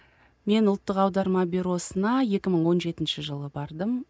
мен ұлттық аударма бюросына екі мың он жетінші жылы бардым